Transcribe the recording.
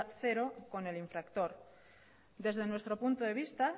cero con el infractor desde nuestro punto de vista